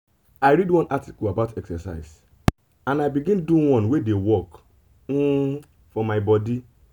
i read one article about exercise and i begin do one wey dey work um for my body.